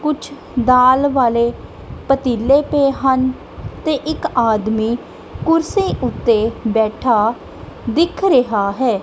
ਕੁਛ ਦਾਲ ਵਾਲੇ ਪਤੀਲੇ ਪਏ ਹਨ ਤੇ ਇੱਕ ਆਦਮੀ ਕੁਰਸੀ ਉਤੇ ਬੈਠਾ ਦਿਖ ਰਿਹਾ ਹੈ।